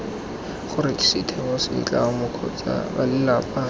gore setheo setlamo kgotsa balelapa